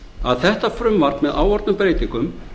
að þetta frumvarp með áorðnum breytingum